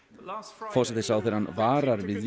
forsætisráðherrann varar við